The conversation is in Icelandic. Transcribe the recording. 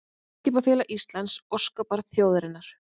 Eimskipafélag Íslands, óskabarn þjóðarinnar